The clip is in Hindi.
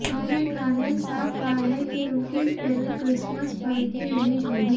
आमिर खान ने साफ कहा है कि उनकी फिल्म क्रिस्मस पर ही रिलीज़ होगी